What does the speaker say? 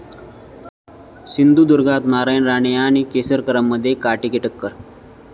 सिंधुदुर्गात नारायण राणे आणि केसरकरांमध्ये काँटे की टक्कर!